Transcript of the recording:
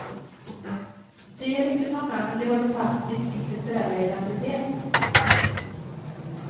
De är inte många, men de håller fast vid sin kulturella identitet.